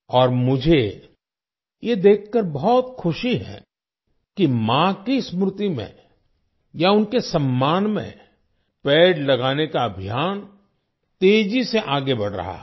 और मुझे ये देखकर बहुत खुशी है कि माँ की स्मृति में या उनके सम्मान में पेड़ लगाने का अभियान तेजी से आगे बढ़ रहा है